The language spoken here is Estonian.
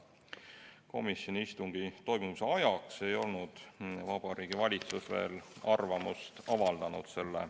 Komisjoni istungi toimumise ajaks ei olnud Vabariigi Valitsus veel selle eelnõu kohta arvamust avaldanud.